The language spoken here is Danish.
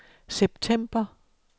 september